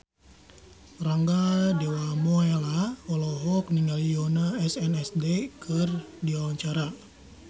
Rangga Dewamoela olohok ningali Yoona SNSD keur diwawancara